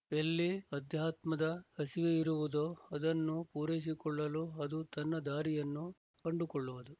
ಎಲ್ಲಿ ಅಧ್ಯಾತ್ಮದ ಹಸಿವೆಯಿರುವುದೋ ಅದನ್ನು ಪೂರೈಸಿಕೊಳ್ಳಲು ಅದು ತನ್ನ ದಾರಿಯನ್ನು ಕಂಡುಕೊಳ್ಳುವುದು